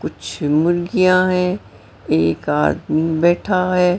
कुछ मुर्गियां हैं एक आदमी बैठा है।